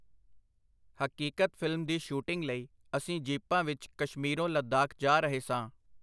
ਹਕੀਕਤ ਫਿਲਮ ਦੀ ਸ਼ੂਟਿੰਗ ਲਈ ਅਸੀਂ ਜੀਪਾਂ ਵਿਚ ਕਸ਼ਮੀਰੋਂ ਲਦਾਖ ਜਾ ਰਹੇ ਸਾਂ.